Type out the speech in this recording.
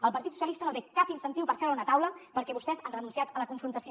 el partit socialista no té cap incentiu per seure a una taula perquè vostès han renunciat a la confrontació